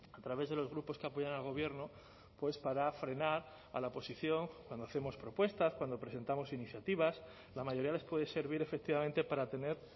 a través de los grupos que apoyan al gobierno pues para frenar a la oposición cuando hacemos propuestas cuando presentamos iniciativas la mayoría les puede servir efectivamente para tener